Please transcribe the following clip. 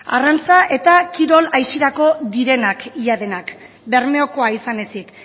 arrantza eta kirol aisiarako direnak ia denak bermeokoa izan ezik